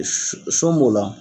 Son b'o la